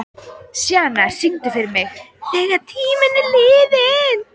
Sjana, syngdu fyrir mig „Þegar tíminn er liðinn“.